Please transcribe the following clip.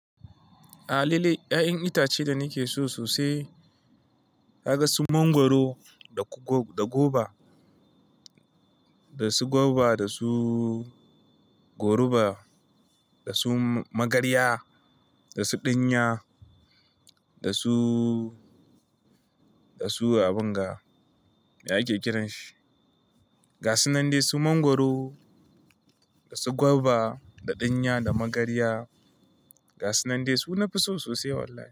A halile, ya'yan itace da nake so sosai kaga su mangwaro da su goba, da su goruba, da su magarya, da su ɗinya, da su abinga. Me ake kiran shi? Ga su nan dai su mangwaro, da su goba, da ɗinya, da magarya. Ga su nan dai su nafi so sosai wallahi.